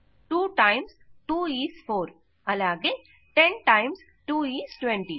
2 times is 4 అలాగే 10 times 2 is 20